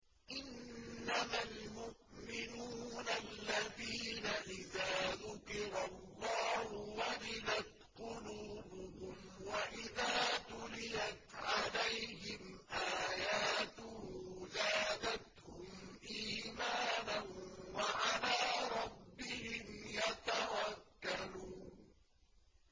إِنَّمَا الْمُؤْمِنُونَ الَّذِينَ إِذَا ذُكِرَ اللَّهُ وَجِلَتْ قُلُوبُهُمْ وَإِذَا تُلِيَتْ عَلَيْهِمْ آيَاتُهُ زَادَتْهُمْ إِيمَانًا وَعَلَىٰ رَبِّهِمْ يَتَوَكَّلُونَ